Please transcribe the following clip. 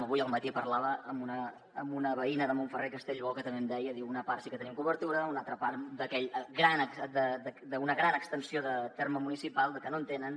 avui al matí parlava amb una veïna de montferrer i castellbò que també em deia una part sí que tenim cobertura una altra part d’una gran extensió de terme municipal no en tenen